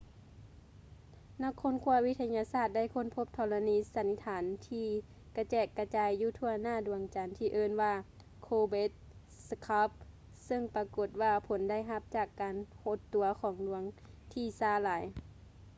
ນັກຄົ້ນຄວ້າວິທະຍາສາດໄດ້ຄົ້ນພົບທໍລະນີສັນຖານທີ່ກະແຈກກະຈາຍຢູ່ທົ່ວໜ້າດວງຈັນທີ່ເອີ້ນວ່າ ໂລເບັດສະຄາບ ຊຶ່ງປາກົດວ່າຜົນໄດ້ຮັບຈາກການຫົດຕົວຂອງດວງທີ່ຊ້າຫຼາຍ